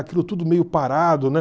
Aquilo tudo meio parado, né?